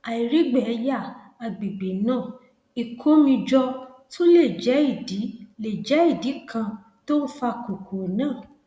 àìrígbẹyà àgbègbè náà ìkó omi jọ tún lè jẹ ìdí lè jẹ ìdí kan tó ń fa kókó náà